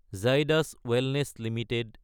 Zydus wellness Ltd